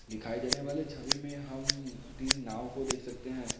दिखाई देने वाले छवि में हम तीन नाव को देख सकते हैं।